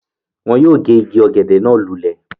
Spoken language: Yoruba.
Wọ́n yóò gé igi ọ̀gẹ̀dẹ̀ náà lulẹ̀